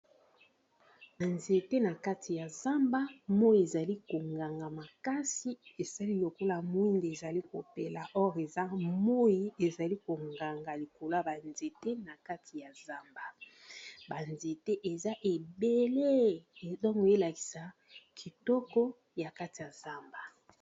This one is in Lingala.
Ba nzete na kati ya zamba moi ezali konganga makasi esali lokola mwinde ezali kopela or eza moi ezali konganga likolo ya banzete, na kati ya zamba banzete eza ebele tonke oyelakisa kitoko ya kati ya zamba.